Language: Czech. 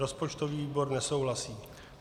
Rozpočtový výbor nesouhlasí.